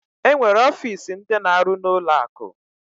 Enwere ọfịs ndi na-aru na ụlọ akụ.